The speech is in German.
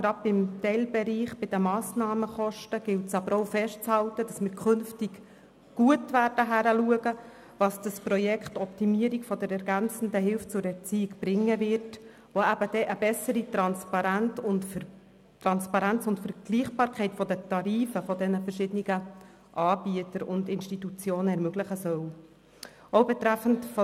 Gerade beim Teilbereich der Massnahmenkosten gilt es aber auch festzuhalten, dass wir künftig gut hinschauen werden, was das Projekt OeHE bringt, welches eine bessere Transparenz und Vergleichbarkeit der Tarife der verschiedenen Anbieter und Institutionen ermöglichen soll.